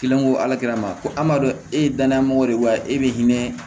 Kelen ko ala ma ko an b'a dɔn e ye danaya mɔgɔ de wa e be hinɛ